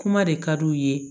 Kuma de ka d'u ye